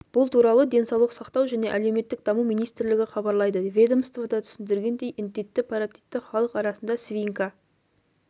бұл туралы денсаулық сақтау және әлеуметтік даму министрлігі хабарлайды ведомствода түсіндіргендей індетті паротитті халық арасында свинка